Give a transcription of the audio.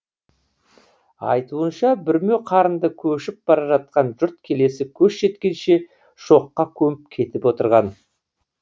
айтуынша бүрме қарынды көшіп бара жатқан жұрт келесі көш жеткенше шоққа көміп кетіп отырған